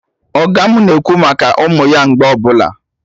Ọga mụ na-ekwu maka ụmụ ya mgbe ọbụla